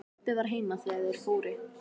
Pabbi var heima þegar þeir fóru.